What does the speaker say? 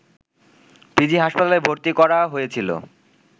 PG হাসপাতালে ভর্তি করা হয়েছিল